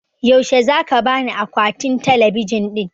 Yaushe zaka bani akwatin talabijin ɗin?